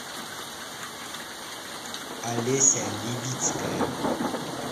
олеся левицкая